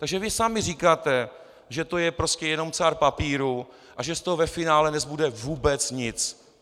Takže vy sami říkáte, že to je prostě jenom cár papíru a že z toho ve finále nezbude vůbec nic.